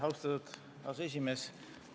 Austatud aseesimees!